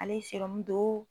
Ale ye don.